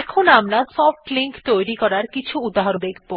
এখন আমরা soft link তৈরী করার কিছু উহাহরণ দেখব